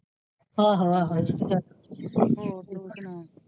ਆਹੋ ਆਹੋ ਠੀਕ ਹੈ ਹੋਰ ਤੂੰ ਸੁਣਾ।